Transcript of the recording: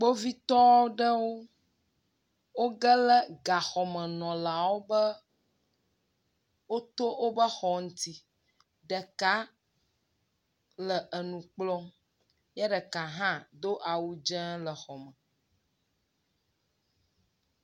Kpovitɔ aɖewo wo geɖe gaxɔmenɔlawo wobe woto woƒe xɔ ŋuti. Ɖeka le enu kplɔm ye ɖeka hã do awu dze le xɔ me.